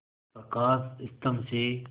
प्रकाश स्तंभ से